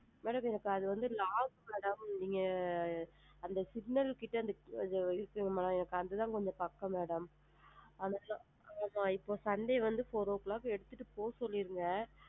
Madam இப்ப அது வந்து lock அதாவது நீங்க அந்த signal கிட்ட இருக்குல mam எங்களுக்கு அது தான் கொஞ்சம் பக்கம் mam இப்போ sunday வந்து four o clock ஐஸ் எடுத்துட்டு போக சொல்லிடுங்க.